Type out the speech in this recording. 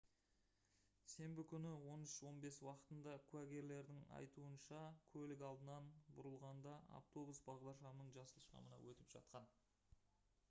сенбі күні 13:15 уақытында куәгерлердің айтуынша көлік алдынан бұрылғанда автобус бағдаршамның жасыл шамына өтіп жатқан